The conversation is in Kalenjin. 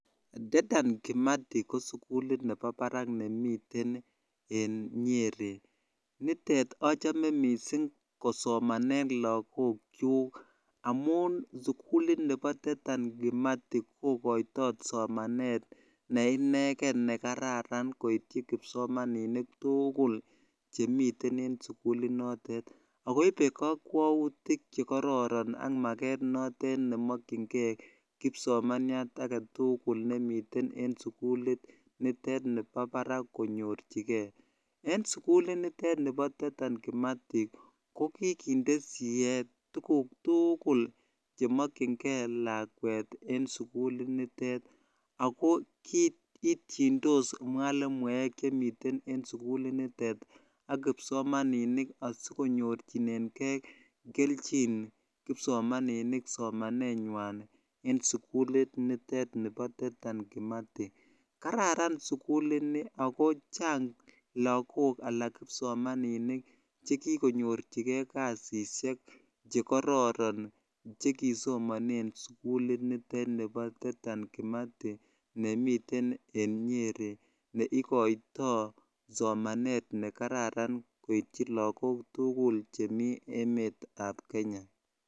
Dedan kimati ko sugulit nemitei barak ak achamee kosomanee lagook amun pa paraak ak koipee kakwautiik chepo parak missing ak kikindee sieet tuguuk tugul cheachee laweet ak komagat konyorchigeii kelnjiin kararan suguli nii amun kikonyorchigee lagook poishonik